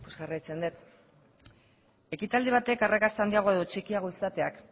jarraitzen dut ekitaldi batek arrakasta handiagoa edo txikiagoa izateak